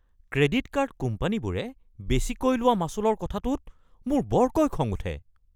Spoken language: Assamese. ক্ৰেডিট কাৰ্ড কোম্পানীবোৰে বেচিকৈ লোৱা মাচুলৰ কথাটোত মোৰ বৰকৈ খং উঠে।